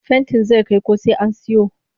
Fentin zai kai ko sai an siyo